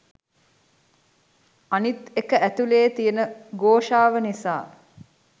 අනිත් එක ඇතුළෙ තියන ඝෝෂාව නිසා